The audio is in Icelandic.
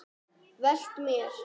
Velt mér.